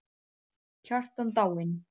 Kjartan dáinn!